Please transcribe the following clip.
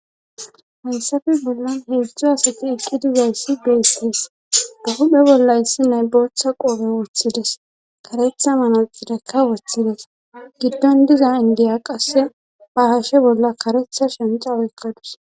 Hayssafe bollan heedzdzu asati eqqi dizayssi beesees bahuphe bolla yssi naybooththa qoobe woththides karetha mana xidekka wothides giddon diza indiya qasse bahashe bolla karetha shenxa wekkadus.